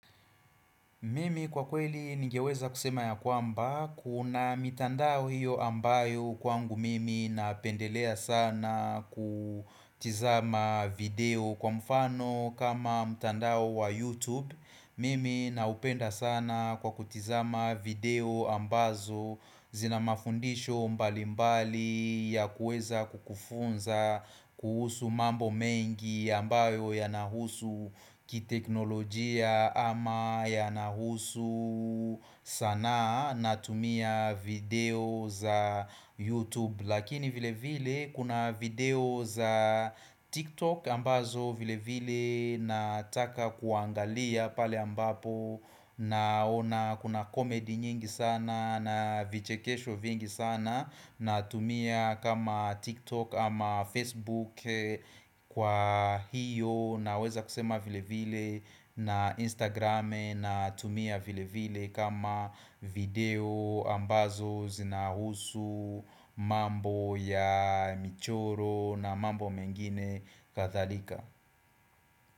Mimi kwa kweli ningeweza kusema ya kwamba, kuna mitandao hiyo ambayo kwangu mimi napendelea sana kutizama video kwa mfano kama mitandao wa YouTube Mimi na upenda sana kwa kutizama video ambazo zina mafundisho mbali mbali ya kueza kukufunza kuhusu mambo mengi ambayo yanahusu kiteknolojia ama yanahusu sanaa natumia video za YouTube. Lakini vile vile kuna video za TikTok ambazo vile vile nataka kuangalia pale ambapo naona kuna comedy nyingi sana na vichekesho vingi sana natumia kama TikTok ama Facebook kwa hiyo na weza kusema vile vile na Instagram natumia vile vile kama video ambazo zinahusu mambo ya michoro na mambo mengine Kathalika.